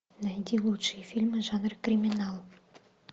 найди лучшие фильмы жанра криминал